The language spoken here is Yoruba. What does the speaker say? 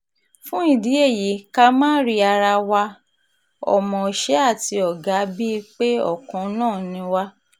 fún ìdí èyí ká máa rí ara wa ọmọọṣẹ́ àti ọ̀gá bíi pé ọ̀kan náà ni wá